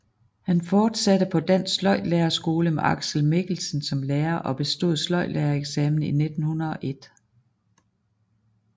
Han fortsatte på Dansk Sløjdlærerskole med Aksel Mikkelsen som lærer og bestod sløjdlærereksamen i 1901